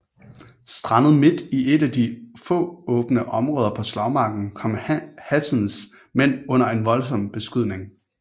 Strandet midt i et af de få åbne områder på slagmarken kom Hazens mænd under en voldsom beskydning